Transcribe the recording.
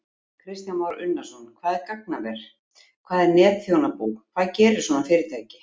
Kristján Már Unnarsson: Hvað er gagnaver, hvað er netþjónabú, hvað gerir svona fyrirtæki?